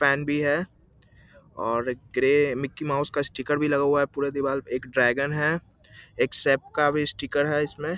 Pen भी है और ग्रे मिक्की माउस का स्टीकर भी लगा हुआ है | पुरे दीवार पर एक ड्रैगन है एक शेफ का स्टीकर है इसमें ।